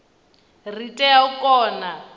ri tea u kona u